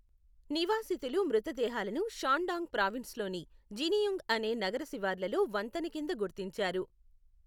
నివాసితులు మృతదేహాలను షాన్డాంగ్ ప్రావిన్స్లోని జినియూన్గ్ అనే నగర శివార్లలో వంతెన కింద గుర్తించారు.